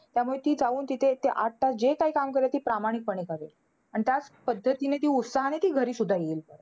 त्यामुळे ती जाऊन तिथे ते आठ तास जे काही काम करेल, ते प्रामाणिकपणे करेल. आणि त्याच पद्धतीने ती उत्साहाने ती घरी सुद्धा येईल.